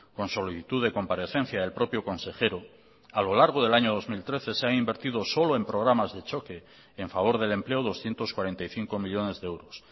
con solicitud de comparecencia del propio consejero a lo largo del año dos mil trece se han invertido solo en programas de choque en favor del empleo doscientos cuarenta y cinco millónes de euros